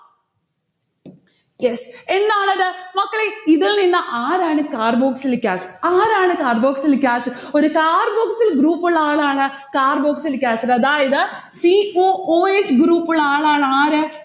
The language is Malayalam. yes എന്താണിത്? മക്കളെ ഇതിൽനിന്ന് ആരാണ് carboxylic acid? ആരാണ് carboxylic acid ഒരു carboxyl group ഉള്ള ആളാണ് carboxylic acid അതായത് c o o s group ഉള്ള ആളാണ് ആര്